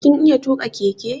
Kin iya tuƙa keke?